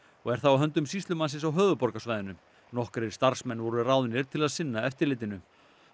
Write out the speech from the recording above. og er það á höndum sýslumannsins á höfuðborgarsvæðinu nokkrir starfsmenn voru ráðnir til að sinna eftirlitinu